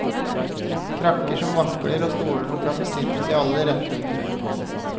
Krakker som vakler og stoler som kan besittes i alle retninger.